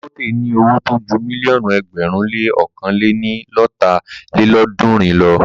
Dagote ní owó tó ju mílíọ̀nù ẹgbẹ̀rún le ọ̀kan lé ní lọ́ta lélọ́ọ̀dúnrún lọ.